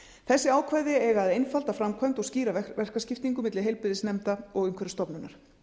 þessi ákvæði eiga að einfalda framkvæmd og skýra verkaskiptingu milli heilbrigðisnefnda og umhverfisstofnunar